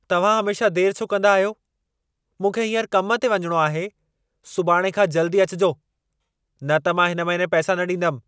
तव्हां हमेशा देरि छो कंदा आहियो? मूंखे हींअर कम ते वञिणो आहे! सुभाणे खां जल्दी अचिजो, न त मां हिन महीने पैसा न ॾींदमि।